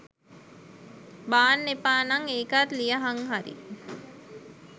බාන්න එපා නම් ඒකත් ලියහං හරි.